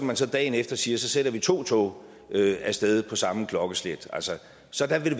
man så dagen efter siger så sender vi to tog af sted på samme klokkeslet så der vil